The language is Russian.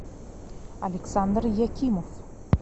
александр якимов